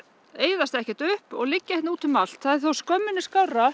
eyðast ekki upp og liggja hérna út um allt það er þó skömminni